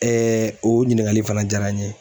o ɲininkali fana jaara n ye.